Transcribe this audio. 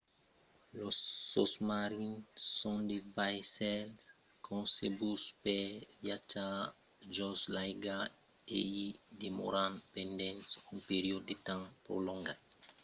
los sosmarins son de vaissèls concebuts per viatjar jos l'aiga e i demòran pendent un periòde de temps prolongat